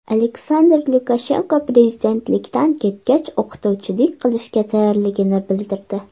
Aleksandr Lukashenko prezidentlikdan ketgach o‘qituvchilik qilishga tayyorligini bildirdi.